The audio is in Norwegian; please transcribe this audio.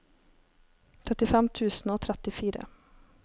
trettifem tusen og trettifire